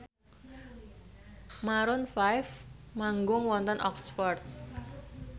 Maroon 5 manggung wonten Oxford